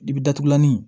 I bi datugulanin